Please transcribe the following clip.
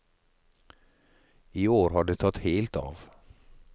I år har det tatt helt av.